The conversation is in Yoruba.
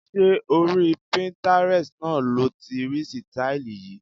Ṣé orí Pinterest náà lo ti rí sítáílì yìí?